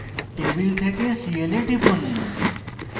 table থেকে cl এ টিপুন